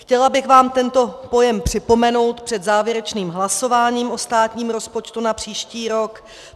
Chtěla bych vám tento pojem připomenout před závěrečným hlasováním o státním rozpočtu na příští rok.